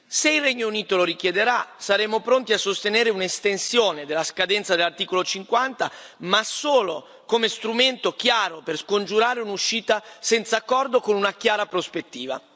Se il Regno Unito lo richiederà saremo pronti a sostenere un'estensione della scadenza dell'articolo 50, ma solo come strumento chiaro per scongiurare un'uscita senza accordo, con una chiara prospettiva.